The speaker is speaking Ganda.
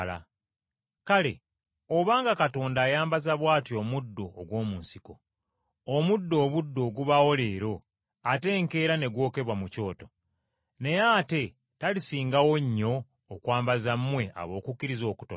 Kale, obanga Katonda ayambaza bw’atyo omuddo ogw’omu nsiko, ogw’ekiseera obuseera ogubaawo leero ate enkeera ne gwokebwa mu kyoto, naye ate talisingawo nnyo okwambaza mmwe ab’okukkiriza okutono!